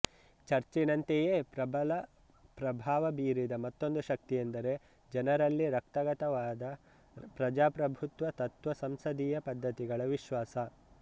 ಚರ್ಚಿನಂತೆಯೇ ಪ್ರಬಲ ಪ್ರಭಾವ ಬೀರಿದ ಮತ್ತೊಂದು ಶಕ್ತಿಯೆಂದರೆ ಜನರಲ್ಲಿ ರಕ್ತಗತವಾದ ಪ್ರಜಾಪ್ರಭುತ್ವ ತತ್ತ್ವ ಸಂಸದೀಯ ಪದ್ಧತಿಗಳ ವಿಶ್ವಾಸ